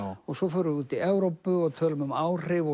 og svo förum við út í Evrópu og tölum um áhrif